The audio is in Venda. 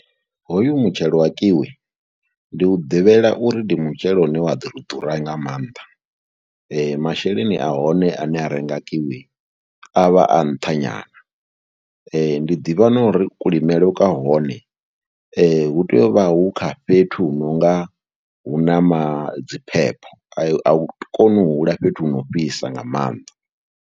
Hoyu mutshelo wa Kiwi ndi u ḓivhela uri ndi mutshelo une wa ḓo ri ḓura nga maanḓa, masheleni a hone ane a renga Kiwi a vha a nṱha nyana. ndi ḓivha na uri kulimele kwa hone hu tea u vha hu kha fhethu hu no nga hu na ma dzi phepho, a hu koni u hula fhethu hu no fhisa nga maanḓa.